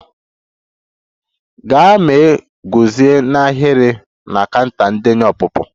Gaa ma guzo n'ahịrị na counter ndenye ọpụpụ!